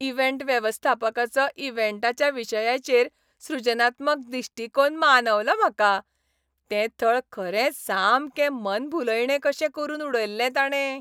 Event वेवस्थापकाचो इव्हेंटाच्या विशयाचेर सृजनात्मक दिश्टीकोन मानवलो म्हाका. तें थळ खरेंच सामकें मनभुलयणें कशें करून उडयल्लें ताणें.